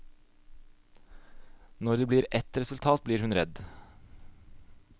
Når det blir et resultat blir hun redd.